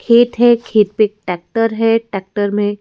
खेत है खेत पेक टैक्टर है। टैक्टर मे--